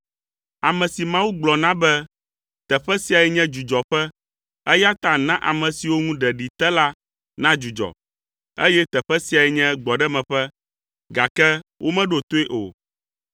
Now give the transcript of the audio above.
ame si Mawu gblɔ na be, “Teƒe siae nye dzudzɔƒe eya ta na ame siwo ŋu ɖeɖi te la nadzudzɔ,” eye “Teƒe siae nye gbɔɖemeƒe”, gake womeɖo toe o.